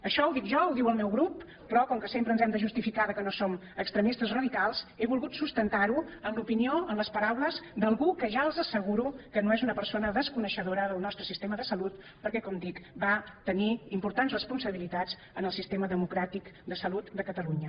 això ho dic jo ho diu el meu grup però com que sempre ens hem de justificar que no som extremistes radicals he volgut sustentar ho en l’opinió en les paraules d’algú que ja els asseguro que no és una persona desconeixedora del nostre sistema de salut perquè com dic va tenir importants responsabilitats en el sistema democràtic de salut de catalunya